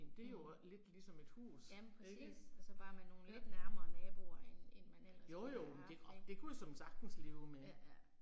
Ja. ja men præcis. Og så bare med nogle lidt nærmere naboer end end man ellers ville have haft ik, ja ja